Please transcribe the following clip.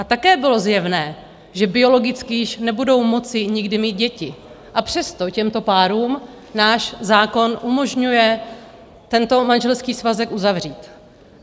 A také bylo zjevné, že biologicky již nebudou moci nikdy mít děti, a přesto těmto párům náš zákon umožňuje tento manželský svazek uzavřít.